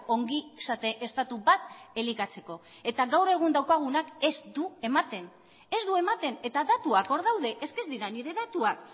ongizate estatu bat elikatzeko eta gaur egun daukagunak ez du ematen ez du ematen eta datuak hor daude es que ez dira nire datuak